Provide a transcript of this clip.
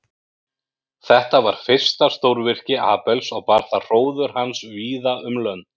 Þetta var fyrsta stórvirki Abels og bar það hróður hans víða um lönd.